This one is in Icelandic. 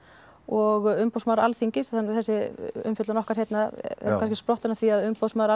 og umboðsmaður Alþingis þessi umfjöllun okkar hérna er kannski sprottin af því að umboðsmaður